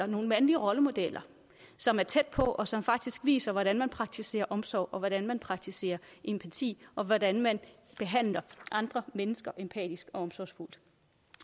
nogen mandlige rollemodeller som er tæt på og som faktisk viser hvordan man praktiserer omsorg og hvordan man praktiserer empati og hvordan man behandler andre mennesker empatisk og omsorgsfuldt